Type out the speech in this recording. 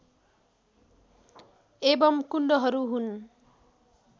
एवम् कुण्डहरू हुन्